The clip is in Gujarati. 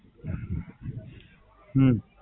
હમ